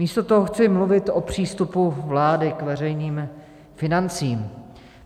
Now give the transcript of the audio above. Místo toho chci mluvit o přístupu vlády k veřejným financím.